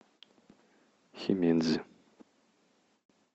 химедзи